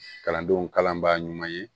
Kalandenw kalanbaa ɲuman ye